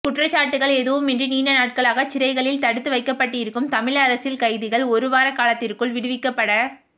குற்றச்சாட்டுக்கள் எதுவுமின்றி நீண்ட நாட்களாக சிறைகளில் தடுத்து வைக்கப்பட்டிருக்கும் தமிழ் அரசியல் கைதிகள் ஒரு வார காலத்திற்குள் விடுவிக்கப்பட